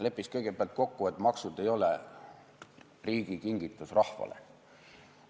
Lepiks kõigepealt kokku, et maksud ei ole riigi kingitus rahvale.